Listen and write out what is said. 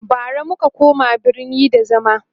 bara muka koma birni da zama